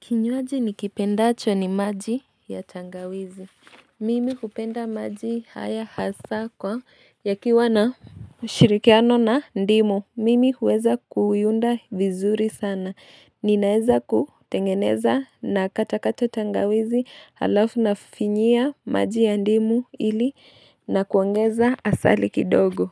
Kinywaji nikipendacho ni maji ya tangawizi Mimi kupenda maji haya hasa kwa yakiwa na mshirikiano na ndimu mimi huweza kuiunda vizuri sana Ninaeza kutengeneza na katakata tangawizi halafu nafinyia maji ya ndimu ili na kuangeza asali kidogo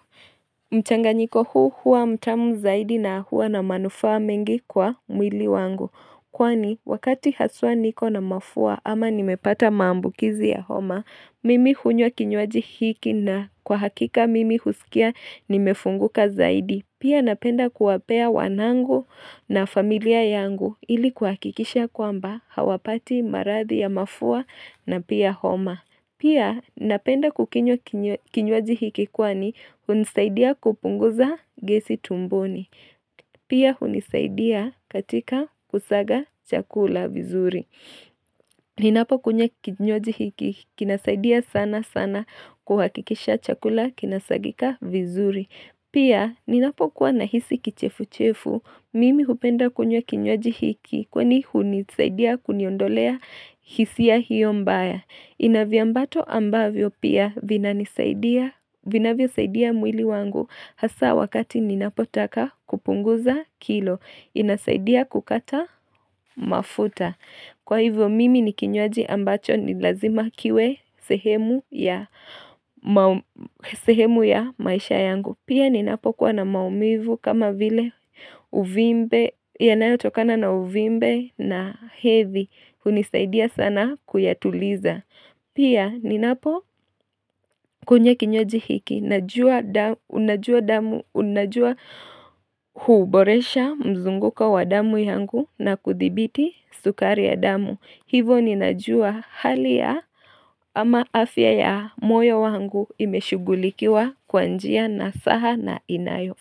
mchanganyiko huu huwa mtamu zaidi na hua na manufaa mengi kwa mwili wangu Kwani wakati haswa niko na mafua ama nimepata maambukizi ya homa Mimi hunywa kinywaji hiki na kwa hakika mimi husikia nimefunguka zaidi Pia napenda kuwapea wanangu na familia yangu ili kuhakikisha kwamba hawapati maradhi ya mafua na pia homa Pia napenda kukinywa kinywaji hiki kwani hunisaidia kupunguza gesi tumboni. Pia hunisaidia katika kusaga chakula vizuri. Ninapo kunywa kinywaji hiki kinasaidia sana sana kuhakikisha chakula kinasagika vizuri. Pia, ninapokuwa na hisi kichefu-chefu, mimi hupenda kunywa kinywaji hiki, kwani hunisaidia kuniondolea hisia hiyo mbaya. Inavyambato ambavyo pia, vinavyo saidia mwili wangu, hasa wakati ninapotaka kupunguza kilo, inasaidia kukata mafuta. Kwa hivyo mimi ni kinywaji ambacho ni lazima kiwe sehemu ya maisha yangu. Pia ni napokuwa na maumivu kama vile uvimbe yanayotokana na uvimbe na hivi hunisaidia sana kuyatuliza. Pia ninapo kunywa kinywaji hiki na unajua damu unajua huboresha mzunguko wa damu yangu na kuthibiti sukari ya damu. Hivo ninajua hali ya ama afya ya moyo wangu imeshugulikiwa kwa njia nasaha na inayo.